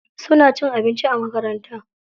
Suna cin abinci a makaranta.